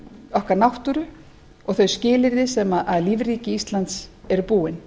okkar náttúru og þau skilyrði sem lífríki íslands eru búin